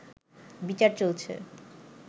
বিচার চলছে